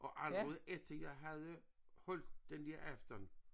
Og allerede efter jeg havde holdt den der aften